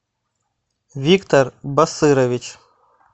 виктор басырович